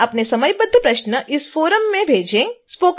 कृपया अपने समयबद्ध प्रश्न इस फोरम में भेजें